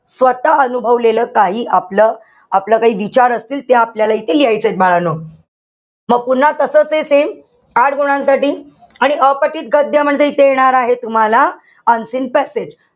स्वतः अनुभवलेलं काही, आपलं काही विचार असतील, ते आपल्याला इथे लिहायचेत, बाळांनो. म पुन्हा तसचे same, आठ गुणांसाठी. आणि अपठित गद्य म्हणजे इथे येणार आहे, तुम्हाला unseen passage.